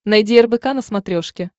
найди рбк на смотрешке